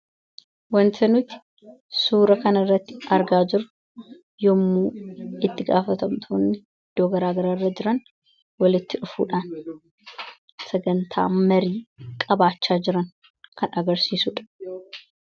wantanuuti suura kana irratti argaa jiru yommuu itti gaafatamtoonni doogaraagararra jiran walitti dhufuudhaan sagantaa marii qabaachaa jiran kan agarsiisuudha